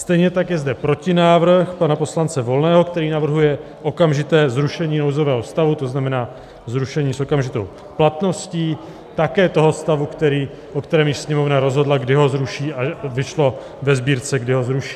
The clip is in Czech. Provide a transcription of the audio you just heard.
Stejně tak je zde protinávrh pana poslance Volného, který navrhuje okamžité zrušení nouzového stavu, to znamená zrušení s okamžitou platností také toho stavu, o kterém již Sněmovna rozhodla, kdy ho zruší, a vyšlo ve Sbírce, kdy ho zruší.